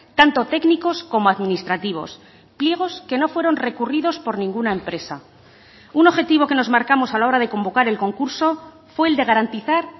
tanto técnicos como administrativos pliegos que no fueron recurridos por ninguna empresa un objetivo que nos marcamos a la hora de convocar el concurso fue el de garantizar